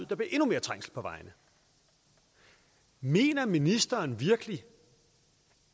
der bliver endnu mere trængsel på vejene mener ministeren virkelig